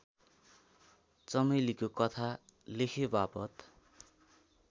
चमेलीको कथा लेखेवापत